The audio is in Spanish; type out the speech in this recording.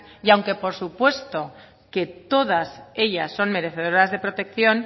y aunque por supuesto que todas ellas son merecedoras de protección